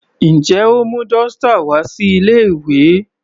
Njẹ́ o mú dọ́stà wá sí ilé ìwé?